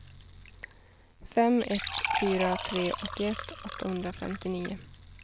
fem ett fyra tre åttioett åttahundrafemtionio